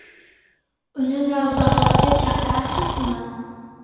Uni “Navbahor”ga chaqirasizmi?